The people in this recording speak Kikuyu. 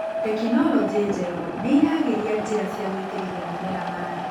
Teknilogĩ njerũ nĩiragĩria njĩra cia gũitĩrĩria mimera maĩ.